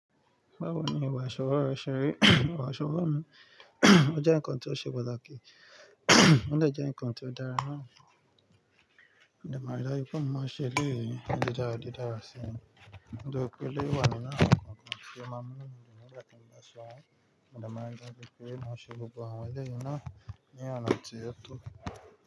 Báwo ni ìwà àṣọwó rẹ ṣeré? Ìwà àṣọwó mi, ó jẹ́ ǹkan tó ṣe pàtàkì, ó dè jẹ́ ǹkan tó dára mọ́, ó dára láti kómo má ṣe lé ìrírí, ó dára, ó dára si. Ni tori pé e lé wà ní nu, awon nkankan ti o má mú nu mi dun ń gba to mo ba se won, mo de ma ri da ju pé má ṣe gbogbo àwọn eleyi náà ni ona ti o.